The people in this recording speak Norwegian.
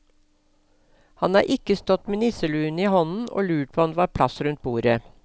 Han har ikke stått med nisseluen i hånden og lurt på om det var plass rundt bordet.